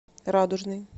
радужный